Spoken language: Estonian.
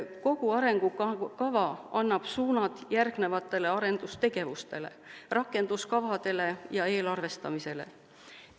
Kogu arengukava annab suunad järgnevatele arendustegevustele, rakenduskavadele ja eelarvestamisele.